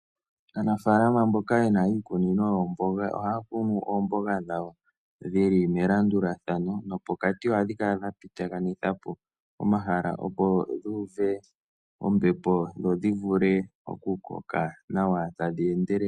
Aanafalama mboka yena iikunino yoomboga ohaya kunu oomboga dhawo dhili melandulathano nopokati ohadhi kala dhapitithapo omahala opo dhuuve ombepo dho dhivule okukoka nawa tadhi endelele.